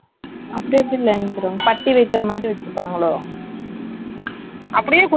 ஹே நீங்க சொல்லுற மாதிரி straight cut குலாம், மேல தைச்சே இல்ல தெரியுமா straight ஆ அப்படியே இருக்கு மேல இருந்து.